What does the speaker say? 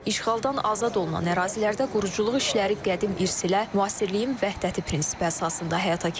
İşğaldan azad olunan ərazilərdə quruculuq işləri qədim irs ilə müasirliyin vəhdəti prinsipi əsasında həyata keçirilir.